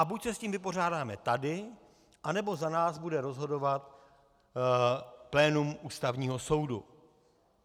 A buď se s tím vypořádáme tady, anebo za nás bude rozhodovat plénum Ústavního soudu.